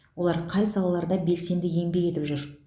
олар қай салаларда белсенді еңбек етіп жүр